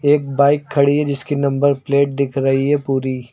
एक बाइक खड़ी है जिसकी नंबर प्लेट दिख रही है पूरी।